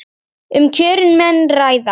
Um kjörin menn ræða.